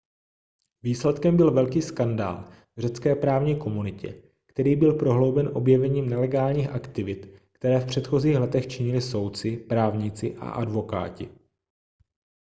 výsledkem byl velký skandál v řecké právní komunitě který byl prohlouben objevením nelegálních aktivit které v předchozích letech činili soudci právníci a advokáti